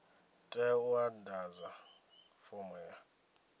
tea u ḓadza fomo ya